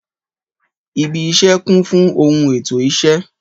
Ìbí isé kun fun ohun ètó isé